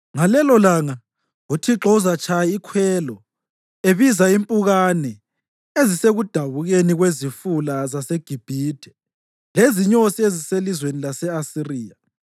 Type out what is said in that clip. Ngalelolanga uThixo uzatshaya ikhwelo ebiza impukane ezisekudabukeni kwezifula zaseGibhithe lezinyosi eziselizweni lase-Asiriya.